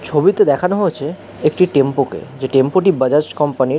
ছবিতে দেখানো হয়েছে একটি টেম্পো কে যেই টেম্পো টি বাজাজ কোম্পানির ।